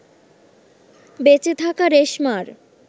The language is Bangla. বেঁচে থাকা রেশমার